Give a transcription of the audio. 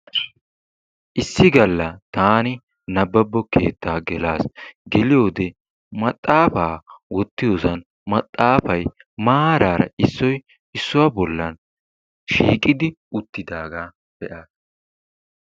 Issi galla taani nabbabbo keettaa gelas. Geliyode maxaafa wottiyosan maxaafayi maaraara issoyi issuwa bollan shiiqidi uttidaagaa be"aas.